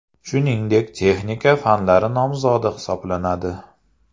Shuningdek texnika fanlar nomzodi hisoblanadi.